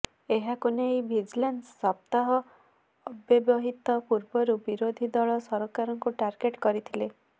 ଏହାକୁ ନେଇ ଭିଜିଲାନ୍ସ ସପ୍ତାହ ଅବ୍ୟବହିତ ପୂର୍ବରୁ ବିରୋଧୀ ଦଳ ସରକାରଙ୍କୁ ଟାର୍ଗେଟ କରିଥିଲେ